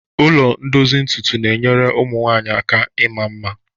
Ụlọ ndozi ntutu na-enyere ụmụ nwanyị aka ịma mma.